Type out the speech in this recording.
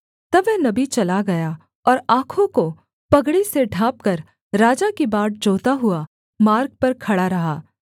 तब वह नबी चला गया और आँखों को पगड़ी से ढाँपकर राजा की बाट जोहता हुआ मार्ग पर खड़ा रहा